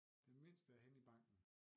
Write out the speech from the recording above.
Den mindste er henne i banken